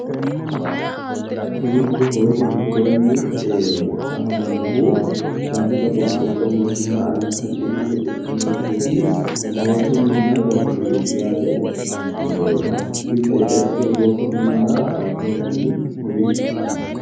Kowiicho hoowete giddoonni afamannohu sidaamu dagoomi qoqqowi mootimma alatta cuukkote gashshooti rosu minna borro mineeti yaate hakkuyi qoxeessi rosu borro mini kowiicho afamanno.